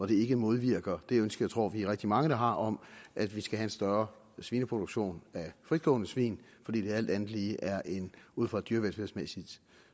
det ikke modvirker det ønske tror vi er rigtig mange der har om at vi skal have en større svineproduktion af fritgående svin fordi det alt andet lige ud fra et dyrevelfærdsmæssigt